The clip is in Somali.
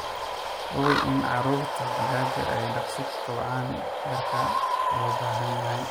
Hubi in caruurta digaaga ay daqsii kobcaan heerka loo baahan yahay.